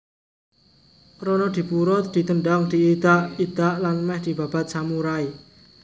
Ronodipuro ditendhang diidak idak lan mèh dibabat samurai